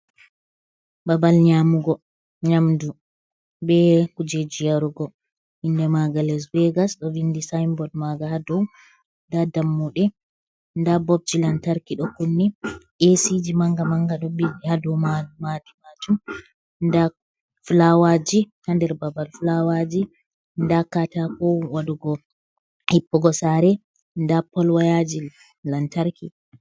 Babal nyamugo nyamdu be kujeji yarugo, inde maga les begas do vindi sinbord maga hado, nda dammude nda bobji lantarki do kunni, esi ji manga manga ɗo ɓili ha dow ma matimatu da flawaji ha nder babal flawaji nda katako wadugo hippugo sare, nda pol wayaji lantarki.